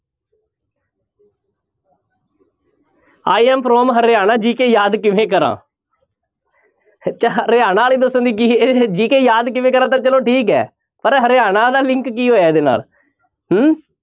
I am from Haryana GK ਯਾਦ ਕਿਵੇਂ ਕਰਾਂ ਹਰਿਆਣਾ ਵਾਲੇ ਦੱਸਣ ਦੀ GK ਯਾਦ ਕਿਵੇਂ ਕਰਾਂ ਤਾਂ ਚਲੋ ਠੀਕ ਹੈ ਪਰ ਹਰਿਆਣਾ ਦਾ link ਕੀ ਹੋਇਆ ਇਹਦੇ ਨਾਲ ਹਮ